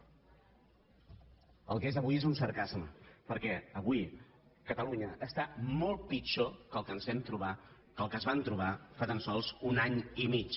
el que és avui és un sarcasme perquè avui catalunya està molt pitjor que el que ens vam trobar que el que es van trobar fa tan sols un any i mig